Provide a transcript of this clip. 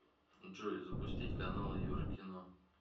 джой запустить каналы еврокино